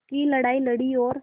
की लड़ाई लड़ी और